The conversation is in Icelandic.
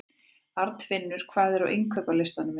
Arnfinnur, hvað er á innkaupalistanum mínum?